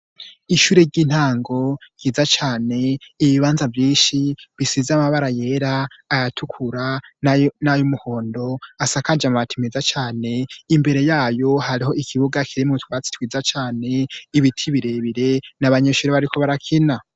Ishure ry'intango ryiza cane, ibibanza vyinshi bisize amabara yera, ayatukura n'ayumuhondo, asakaje amabati meza cane, imbere yayo hariho ikibuga kirimwo utwatsi twiza cane, ibiti birebire n'abanyeshure bariko barakina.